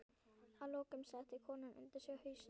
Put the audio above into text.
Að lokum setti konan undir sig hausinn.